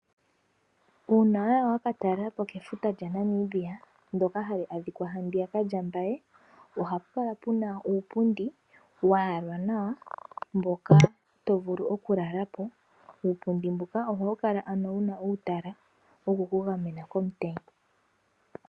Uuna waya wa katalelapo kefuta lyaNamibia ndoka hali adhikwa handiyaka lyaMbaye. Ohapu kala puna uupundi wa yala nawa mboka to vulu okulala po. Uupundi mbuka ohawu kala wuna uutala wokukugamena komutenya.